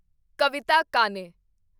ਕਵਿਤਾ ਕਾਨੇ